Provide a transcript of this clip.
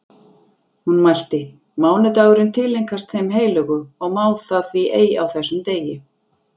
Hún mælti: Mánudagurinn tileinkast þeim heilögu og má það því ei á þessum degi